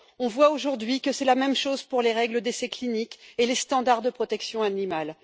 On voit aujourd'hui que c'est la même chose pour les règles d'essais cliniques et les normes de protection animale.